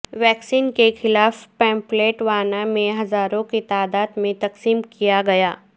vaccine کے خلاف pamphlet Wana میں ہزاروں کی تعداد میں تقسیم کیا گیا